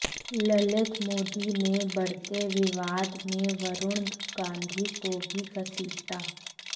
ललित मोदी ने बढ़ते विवाद में वरुण गांधी को भी घसीटा